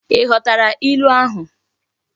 I ghotara ilu ahu?